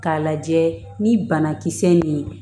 K'a lajɛ ni banakisɛ ye